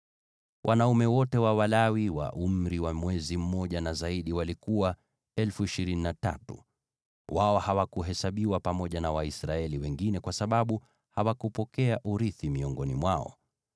Wanaume wote wa Walawi wa umri wa mwezi mmoja na zaidi walikuwa 23,000. Wao hawakuhesabiwa pamoja na Waisraeli wengine kwa sababu hawakupokea urithi miongoni mwao.